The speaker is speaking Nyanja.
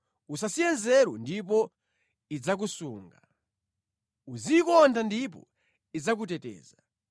Usasiye nzeru ndipo idzakusunga. Uziyikonda ndipo idzakuteteza.